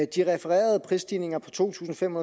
de refererede prisstigninger på to tusind fem